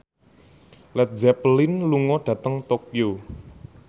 Led Zeppelin lunga dhateng Tokyo